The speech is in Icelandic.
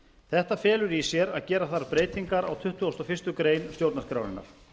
þetta felur í sér að gera þarf breytingar á tuttugustu og fyrstu grein stjórnarskrárinnar